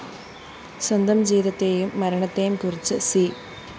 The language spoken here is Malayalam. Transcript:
സ്വന്തം ജീവിതത്തെയും മരണത്തെയും കുറിച്ച് സി